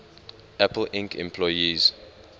apple inc employees